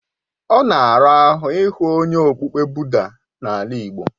Ọ na ara ahụ ị hụ onye okpukpe Buda n'ala igbo.